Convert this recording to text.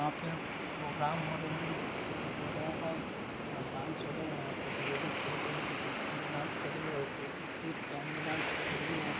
पे एक प्रोग्राम हो रही जहां हो रहा है। जहां पे डाँस हो रहे यहाँ पे लेडिज़ ब्लू कलर की डाँस कर रही है और पहेन के डाँस कर रही है और --